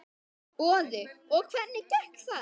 Boði: Og hvernig gekk þar?